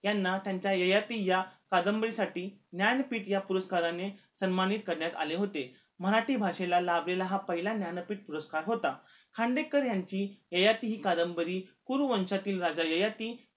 यांना त्यांच्या ययाती या कादंबरी साठी ज्ञानपीठ या पुरस्काराने सन्मानित करण्यात आले होते मराठी भाषेला लाभलेला पहिला ज्ञानपीठ पुरस्कार होता खांडेकर यांची ययाती हि कादंबरी कुरुवंचातील राजा ययाती